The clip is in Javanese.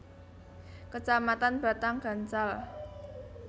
Kecamatan Batang Gansal